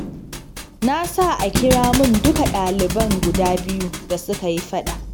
Na sa a kira mun duka ɗaliban guda biyu da suka yi faɗa.